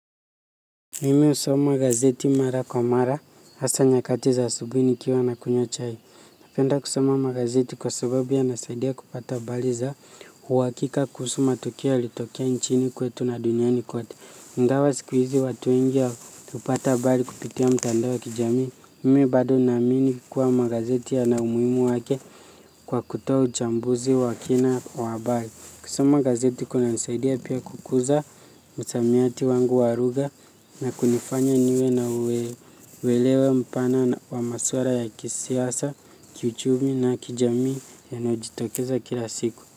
Mimi husoma gazeti mara kwa mara, hasa nyakati za asubuhi nikiwa nakunywa chai. Napenda kusoma magazeti kwa sababu yanasaidia kupata habari za uhakika kuhusu matukio yalitokea nchini kwetu na duniani kote. Ingawa siku hizi watu wengi hupata habari kupitia mitandao ya kijamii. Mimi bado naamini kuwa magazeti yana umuhimu wake kwa kutoa uchambuzi wa kina habari. Kusoma gazeti kunanisaidia pia kukuza msamiati wangu wa lugha na kunifanya niwe na uelewa mpana wa masuala ya kisiasa, kiuchumi na kijamii yanayojitokeza kila siku.